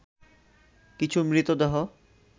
কিছু মৃতদেহ